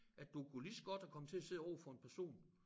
At du kunne lige så godt have kommet til at sidde overfor en person